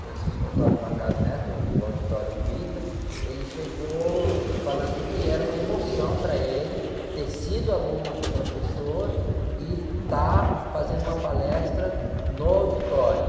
o auditório do ita, ele chegou falando que era uma emoção para ele ter sido aluno do professor e estar fazendo uma palestra no auditório.